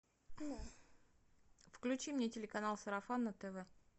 включи мне телеканал сарафан на тв